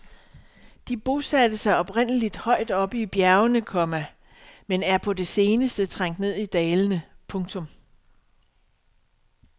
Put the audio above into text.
De bosatte sig oprindeligt højt oppe i bjergene, komma men er på det seneste trængt ned i dalene. punktum